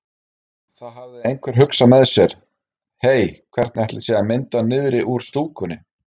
Þá hafði einhver hugsað með sér: Hey hvernig ætli sé að mynda niðri úr stúkunni?